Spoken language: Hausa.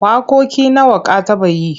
Waƙoƙi nawa ka taɓa yi?